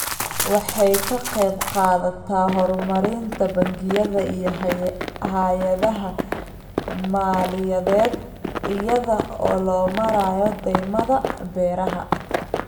Waxay ka qaybqaadataa horumarinta bangiyada iyo hay'adaha maaliyadeed iyada oo loo marayo deymaha beeraha.